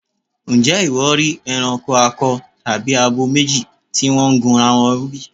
Ǹjẹ́ ìwọ rí ẹranko akọ tàbí abo méjì tí wọ́n gunra wọn bí?